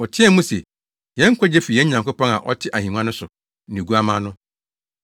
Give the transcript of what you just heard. Wɔteɛɛ mu se, “Yɛn nkwagye fi yɛn Nyankopɔn a ɔte ahengua no so ne Oguamma no.”